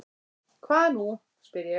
Hvað nú? spyr ég.